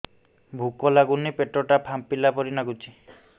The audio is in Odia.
ଭୁକ ଲାଗୁନି ପେଟ ଟା ଫାମ୍ପିଲା ପରି ନାଗୁଚି